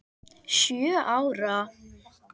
Sjö ára?